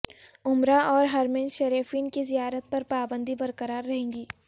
عمرہ اور حرمین شریفین کی زیارت پر پابندی برقرار رہے گی